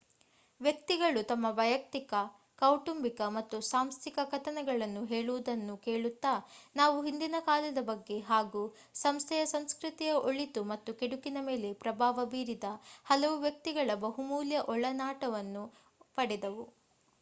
ವ್ಯಕ್ತಿಗಳು ತಮ್ಮ ವೈಯುಕ್ತಿಕ ಕೌಟುಂಬಿಕ ಮತ್ತು ಸಾಂಸ್ಥಿಕ ಕಥನಗಳನ್ನು ಹೇಳುವುದನ್ನು ಕೇಳುತ್ತಾ ನಾವು ಹಿಂದಿನಕಾಲದ ಬಗ್ಗೆ ಹಾಗೂ ಸಂಸ್ಥೆಯ ಸಂಸ್ಕೃತಿಯ ಒಳಿತು ಮತ್ತು ಕೆಡುಕಿನ ಮೇಲೆ ಪ್ರಭಾವ ಬೀರಿದ ಹಲವು ವ್ಯಕ್ತಿಗಳ ಬಹುಮೂಲ್ಯ ಒಳನೋಟಗಳನ್ನು ಪಡೆದೆವು